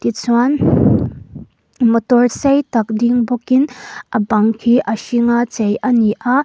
tichuan motor sei tak ding bawkin a bang hi a hring a chei a ni a.